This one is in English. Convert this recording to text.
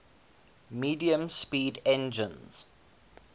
medium speed engines